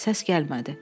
Səs gəlmədi.